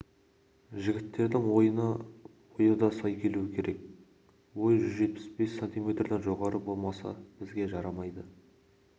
жігіттердің ойына бойы да сай келуі керек бой жүз жетпіс бес сантиметрден жоғары болмаса бізге жарамайды